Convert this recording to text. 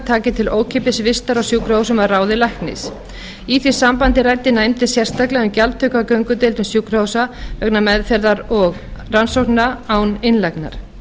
taki til ókeypis vistar á sjúkrahúsum að ráði læknis í því sambandi ræddi nefndin sérstaklega um gjaldtöku á göngudeildum sjúkrahúsa vegna meðferðar og rannsókna án innlagnar